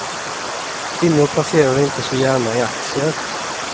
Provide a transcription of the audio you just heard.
Kvinnor placerar inte så gärna i aktier.